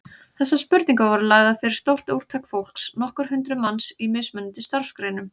Þessar spurningar voru svo lagðar fyrir stórt úrtak fólks, nokkur hundruð manns, í mismunandi starfsgreinum.